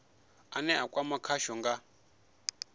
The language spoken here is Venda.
ane a kwama khasho kha